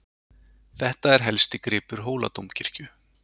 Þetta er helsti gripur Hóladómkirkju.